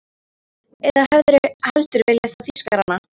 Eða hefðirðu heldur viljað fá Þýskarana?